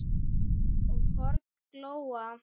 og horn glóa